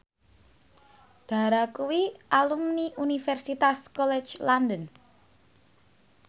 Dara kuwi alumni Universitas College London